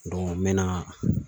n bɛna